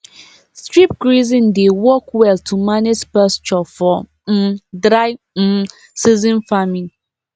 strip grazing dey work well to manage pasture for um dry um season farming